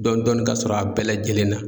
Dɔɔni dɔɔni kasɔrɔ a bɛɛ lajɛlen na.